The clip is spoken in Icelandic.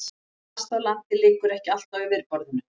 Plast á landi liggur ekki allt á yfirborðinu.